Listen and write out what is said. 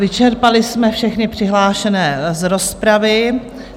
Vyčerpali jsme všechny přihlášené z rozpravy.